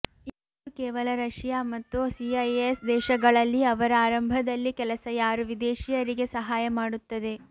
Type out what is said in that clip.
ಇದು ಕೇವಲ ರಶಿಯಾ ಮತ್ತು ಸಿಐಎಸ್ ದೇಶಗಳಲ್ಲಿ ಅವರ ಆರಂಭದಲ್ಲಿ ಕೆಲಸ ಯಾರು ವಿದೇಶಿಯರಿಗೆ ಸಹಾಯ ಮಾಡುತ್ತದೆ